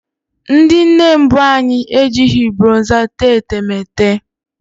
Ndị nne mbụ anyị ejighị bronza tee etemeete